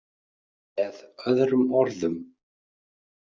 Með öðrum orðum.